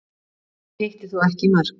Hann hitti þó ekki í mark